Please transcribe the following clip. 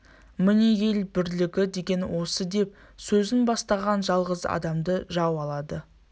міне ел бірлігі деген осы деп сөзін бастаған жалғыз адамды жау алады